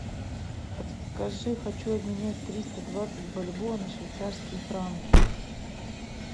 подскажи хочу обменять триста двадцать бальбоа на швейцарские франки